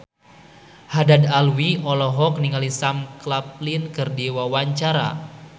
Haddad Alwi olohok ningali Sam Claflin keur diwawancara